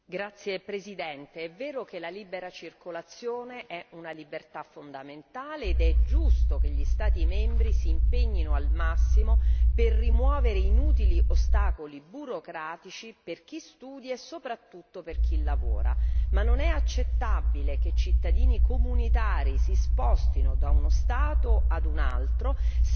Signor Presidente, onorevoli colleghi, è vero che la libera circolazione è una libertà fondamentale ed è giusto che gli Stati membri si impegnino al massimo per rimuovere inutili ostacoli burocratici per chi studia e soprattutto per chi lavora. Ma non è accettabile che i cittadini comunitari si spostino da uno Stato a un altro,